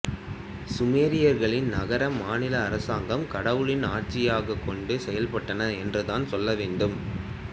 சுமேரியர்களின் நகர மாநில அரசாங்கம் கடவுளின் ஆட்சியாக கொண்டு செயல்பட்டன என்று தான் சொல்லவேண்டும்